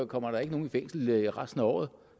kommer nogen i fængsel resten af året